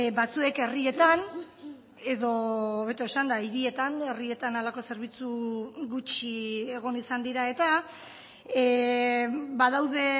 batzuek herrietan edo hobeto esanda hirietan herrietan halako zerbitzu gutxi egon izan dira eta badaude